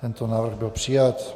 Tento návrh byl přijat.